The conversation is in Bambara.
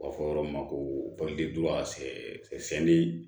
U b'a fɔ yɔrɔ min ma ko